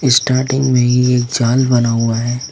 Starting में ही एक जाल बना हुआ है।